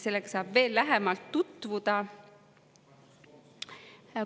Sellega saab veel lähemalt tutvuda.